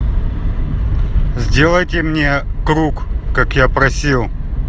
сделайте мне круг как я просил